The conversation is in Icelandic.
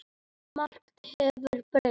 Margt hefur breyst.